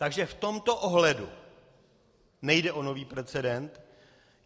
Takže v tomto ohledu nejde o nový precedent.